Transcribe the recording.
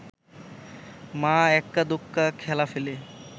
মা এক্কা দোক্কা খেলা ফেলে